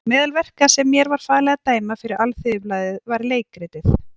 Meðal verka sem mér var falið að dæma fyrir Alþýðublaðið var leikritið